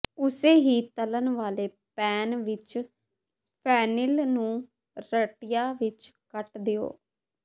ਉਸੇ ਹੀ ਤਲ਼ਣ ਵਾਲੇ ਪੈਨ ਵਿੱਚ ਫੈਨਿਲ ਨੂੰ ਰੱਟੀਆਂ ਵਿੱਚ ਕੱਟ ਦਿਓ